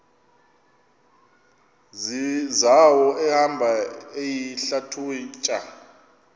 zawo ehamba eyihlalutya